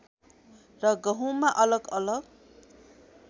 र गहुँमा अलग अलग